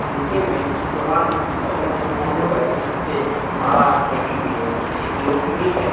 नीचे में भगवान जी की बहुत सारी फोटो है जिस पर माला लगी हुई है एक लोटनी है।